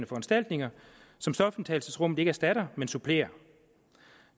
foranstaltninger som stofindtagelsesrummet ikke erstatter men supplerer